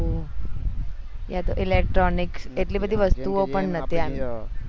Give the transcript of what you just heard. એ electronic એટલી બધી વસ્તુઓ પણ નતી